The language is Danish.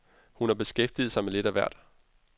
Hun har beskæftiget sig med lidt af hvert.